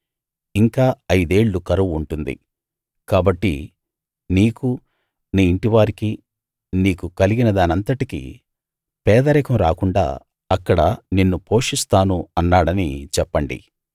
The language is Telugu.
ఇంకా ఐదేళ్ళు కరువు ఉంటుంది కాబట్టి నీకూ నీ ఇంటి వారికీ నీకు కలిగినదానంతటికీ పేదరికం రాకుండా అక్కడ నిన్ను పోషిస్తాను అన్నాడని చెప్పండి